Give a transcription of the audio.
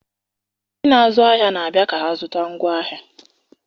Ndị na-azụ ahịa na-abịa ka ha zụta ngwaahịa.